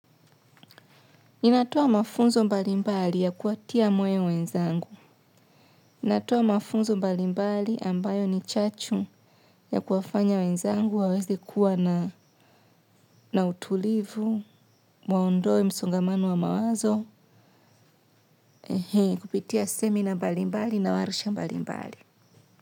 Ninatoa mafunzo mbalimbali ya kuwatia moyo wenzangu. Natoa mafunzo mbalimbali ambayo ni chachu ya kuwafanya wenzangu waweze kuwa na utulivu, waondoe msongamano wa mawazo, kupitia seminar mbalimbali na warsha mbalimbali.